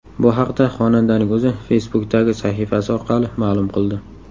Bu haqda xonandaning o‘zi Facebook’dagi sahifasi orqali ma’lum qildi .